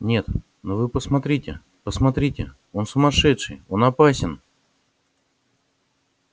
нет ну вы посмотрите посмотрите он сумасшедший он опасен